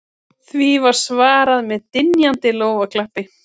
Því var svarað með dynjandi lófaklappi